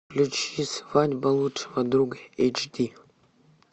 включи свадьба лучшего друга эйч ди